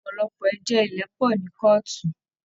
Ọpọlọpọ ẹjọ ilẹ pọ ní kọọtù.